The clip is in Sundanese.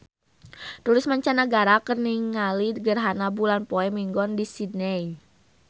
Turis mancanagara keur ningali gerhana bulan poe Minggon di Sydney